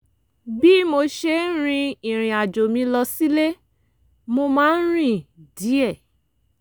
bí mo ṣe ń rin ìrìn àjò mi lọ sílé mo máa ń rìn díẹ̀